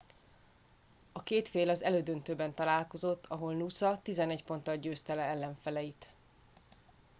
a két fél az elődöntőben találkozott ahol noosa 11 ponttal győzte le ellenfeleit